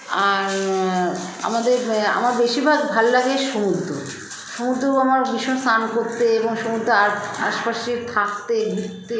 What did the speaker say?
আর আ আমাদের ব আমার বেশিরভাগ ভাললাগে সমুদ্র সমুদ্র আমার ভীষণ স্নান করতে এবং সমুদ্রে আর আশপাশে থাকতে ঘুরতে